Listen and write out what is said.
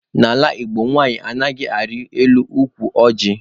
N'ala Igbo, nwanyị anaghị arị elu ukwu ọjị.